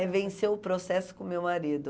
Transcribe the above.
É vencer o processo com o meu marido.